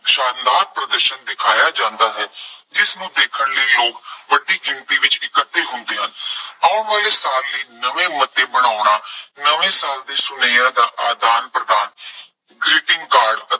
ਸ਼ਾਨਦਾਰ ਪ੍ਰਦਰਸ਼ਨ ਦਿਖਾਇਆਂ ਜਾਂਦਾ ਹੈ। ਜਿਸਨੂੰ ਦੇਖਣ ਲਈ ਲੋਕ ਵੱਡੀ ਗਿਣਤੀ ਵਿੱਚ ਇਕੱਠੇ ਹੁੰਦੇ ਹਨ। ਆਉਣ ਵਾਲੇ ਸਾਲ ਲਈ ਨਵੇਂ ਮੁੱਦੇ ਬਣਾਉਣਾ, ਨਵੇਂ ਸਾਲ ਦੇ ਸੁਨੇਹਿਆਂ ਦਾ ਆਦਾਨ ਪ੍ਰਦਾਨ greeting card